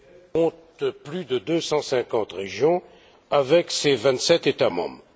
compte plus de 250 régions avec ses vingt sept États membres.